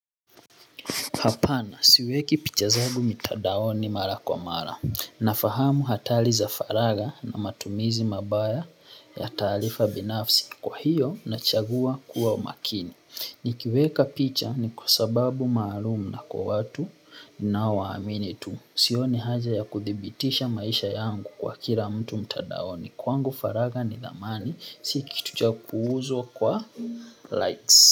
Hapana, siweki picha zangu mtiadaoni mara kwa mara. Nafahamu hatari za faragha na matumizi mabaya ya taarifa binafsi. Kwa hiyo, nachagua kuwa umakini. Nikiweka picha ni kwa sababu maalumu na kwa watu ninaowaamini tu. Sioni haja ya kudhibitisha maisha yangu kwa kila mtu mtadaoni. Kwangu faragha ni dhamani, si kitu cha kuuzwa kwa likes.